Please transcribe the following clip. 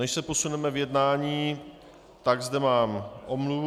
Než se posuneme v jednání, tak zde mám omluvu.